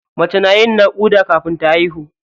Mace na yin naƙuda kafin ta haihu.